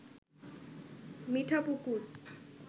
Mithapukur